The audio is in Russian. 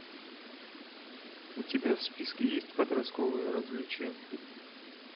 у тебя в списке есть подростковые развлечения